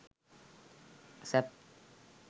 sap